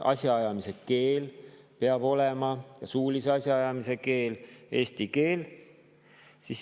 Asjaajamise keel – suulise asjaajamise keel – peab olema eesti keel.